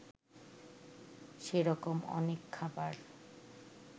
সেরকম অনেক খাবার